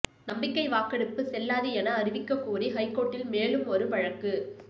நம்பிக்கை வாக்கெடுப்பு செல்லாது என அறிவிக்கக்கோரி ஹைகோர்ட்டில் மேலும் ஒரு வழக்கு